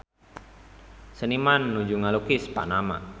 Seniman nuju ngalukis Panama